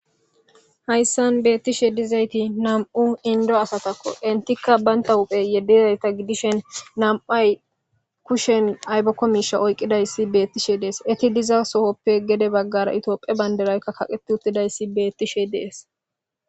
hayssan beettishe dizayti nam7u indo asatakko intikka baynta huphe yedezayta gidishen nam7ay kushen aybokko miisha oyqqidayssi beettishe dees eti diza sohoppe gede baggara itophe banderaykka kaqeti uttidayssi beettishe dees